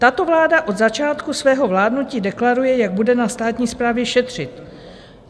Tato vláda od začátku svého vládnutí deklaruje, jak bude na státní správě šetřit.